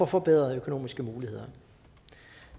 forbedrede økonomiske muligheder